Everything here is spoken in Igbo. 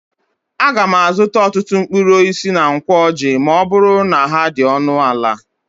Aga m azụta ọtụtụ mkpụrụ osisi na Nkwo Ọjị ma ọ bụrụ na ha dị ọnụ ala.